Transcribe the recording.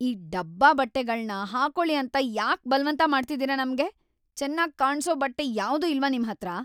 ಈ ಡಬ್ಬಾ ಬಟ್ಟೆಗಳ್ನ ಹಾಕೊಳಿ ಅಂತ ಯಾಕ್‌ ಬಲ್ವಂತ ಮಾಡ್ತಿದೀರ ನಮ್ಗೆ?! ಚೆನ್ನಾಗ್‌ ಕಾಣ್ಸೋ ಬಟ್ಟೆ ಯಾವ್ದೂ ಇಲ್ವಾ ನಿಮ್ಹತ್ರ?!